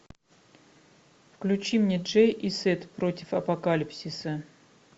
включи мне джей и сет против апокалипсиса